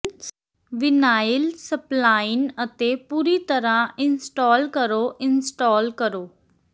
vinyl spline ਅਤੇ ਪੂਰੀ ਤਰ੍ਹਾਂ ਇੰਸਟਾਲ ਕਰੋ ਇੰਸਟਾਲ ਕਰੋ